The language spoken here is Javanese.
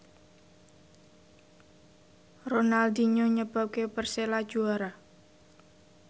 Ronaldinho nyebabke Persela juara